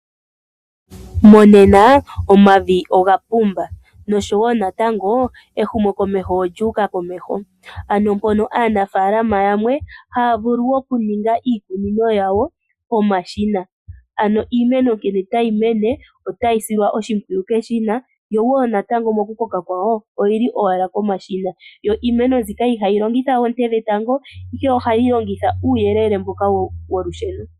Monena omavi ogapumba noshowoo natango ehumokomeho olyuuka komeho. Aanafaalama ohaa vulu okuninga iikunino yawo nomashina. Ano iimeno ngele tayi mene ohayi silwa oshimpwiyu keshina, yo woo nokukoka kwayo oyili owala komashina. Iimeno mbyika ihayi longitha oonte dhetango ihe ohayi longitha uuyelele wolusheno.